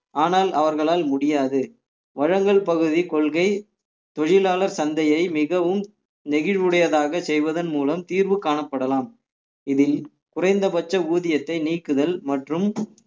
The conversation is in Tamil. ஆனால் அவர்களால் முடியாது வழங்கல் பகுதி கொள்கை தொழிலார் சந்தையை மிகவும் நெகிழ்வுடையதாக செய்வதன் மூலம் தீர்வு காணப்படலாம் இதில் குறைந்தபட்ச ஊதியத்தை நீக்குதல் மற்றும்